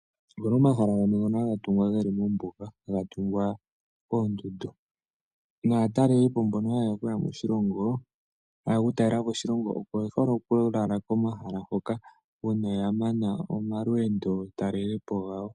Opuna omahala gamwe ngono haga tungwa mombuga naatalelipo yamwe oko haya lala komahala hoka uuna ya mana omalweendo talelipo gawo.